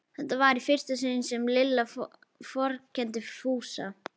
Þetta var í fyrsta sinn sem Lilla vorkenndi Fúsa.